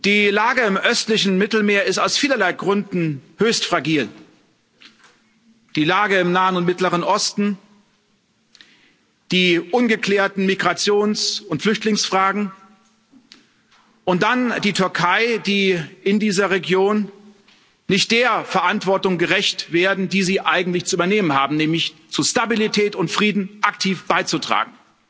Die Lage im östlichen Mittelmeer ist aus vielerlei Gründen höchst fragil die Lage im Nahen und Mittleren Osten, die ungeklärten Migrations und Flüchtlingsfragen und dann die Türkei, die in dieser Region nicht der Verantwortung gerecht wird, die sie eigentlich zu übernehmen hat, nämlich zu Stabilität und Frieden aktiv beizutragen.